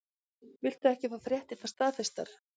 Viltu ekki fá fréttirnar staðfestar?